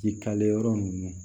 Jikalen yɔrɔ ninnu